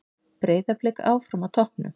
Breiðablik áfram á toppnum